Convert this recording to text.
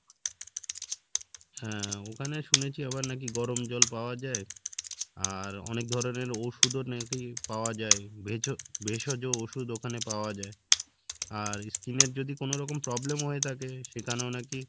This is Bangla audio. হ্যাঁ ওখানে শুনেছি আবার নাকি গরম জল পাওয়া যাই আর অনেক ধরণের ওষুদও নাকি পাওয়া যাই ভেজ ভেষজ ওষুধ ওখানে পাওয়া যাই আর skin এর যদি কোনোরকম problem হয়ে থাকে সেখানেও নাকি